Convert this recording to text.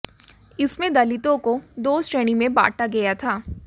इसमें दलितों को दो श्रेणी में बांटा गया था